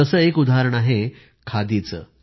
जसं एक उदाहरण आहे खादीचं